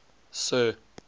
sir